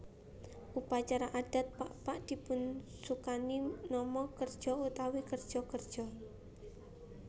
Upacara adat Pakpak dipunsukani nama kerja utawi kerja kerja